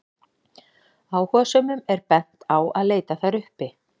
Áhugasömum er bent á að leita þær uppi.